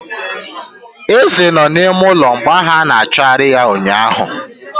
Eze no n'ime ụlọ mgbe ahụ ana achọgarị ya ụnyaahụ.